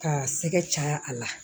K'a sɛgɛ caya a la